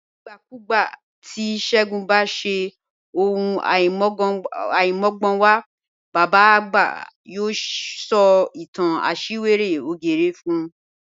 Nigbakugba ti Segun ba ṣe ohun aimọgbọnwa, baba agba yoo sọ itan ti aṣiwere ògérè fun